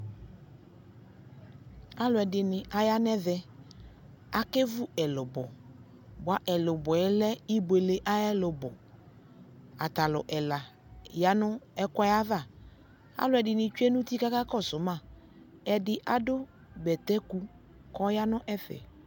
alo ɛdini ya no ɛvɛ akevu ɛlobɔ boa elubɔɛ lɛ iboele ayo ɛlobɔ ata lo ɛla ya no ɛkoɛ ava aloɛdini tsue no uti ko akakɔso ma edi ado bɛtɛ ku ko ɔya no ɛfɛ